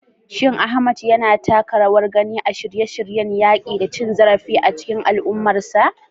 Shin Ahmad yana taka rawar gani a shirye-shiryen yaƙi da cin zarafi a cikin al'ummarsa?